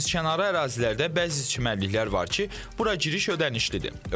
Dənizkənarı ərazilərdə bəzi çimərliklər var ki, bura giriş ödənişlidir.